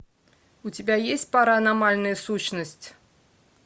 у тебя есть паранормальная сущность